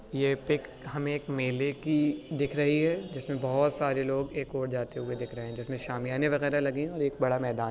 ये पिक हमे एक मेले की दिख रहीं है जिसमें बहुत सारे लोग एक ओर जाते हुए दिख रहें है जिसमें शामियाने वगैरा लगे है और एक बड़ा मैदान --